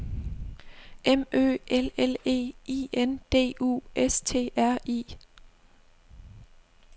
M Ø L L E I N D U S T R I